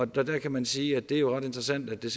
der kan man sige at det jo er ret interessant at det